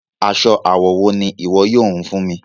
Aṣọ awọ wo ni iwọ yóò hún fún mi?